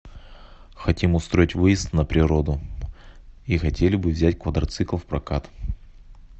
хотим устроить выезд на природу и хотели бы взять квадроцикл в прокат